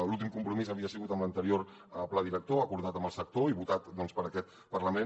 l’últim compromís havia sigut amb l’anterior pla director acordat amb el sector i votat per aquest parlament